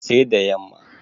sai da yamma